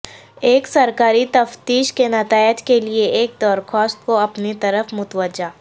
ایک سرکاری تفتیش کے نتائج کے لئے ایک درخواست کو اپنی طرف متوجہ